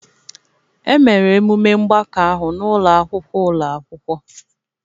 Emere emume mgbakọ ahụ n'ụlọ akwụkwọ ụlọ akwụkwọ